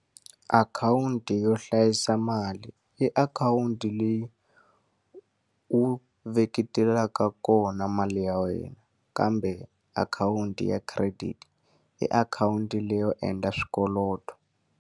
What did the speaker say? Akhawunti yo hlayisa mali i akhawunti leyi u veketelaka kona mali ya wena, kambe akhawunti ya credit i akhawunti leyi yo endla swikweleti.